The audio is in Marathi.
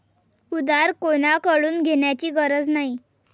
उधार कोणाकडून घेण्याची गरज नाही.